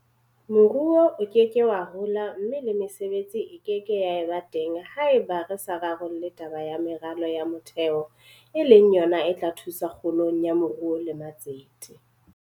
Moruo o ke ke wa hola mme le mesebetsi e ke ke ya ba teng haeba re sa rarolle taba ya meralo ya motheo e leng yona e tla thusa kgolong ya moruo le matsete.